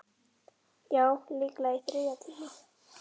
Já, líklega á þriðja tíma.